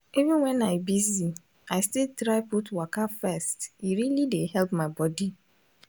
even when i busy i still try put waka first e really dey help my body